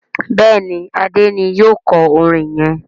Béèni Ade ní yíò kò orin yén.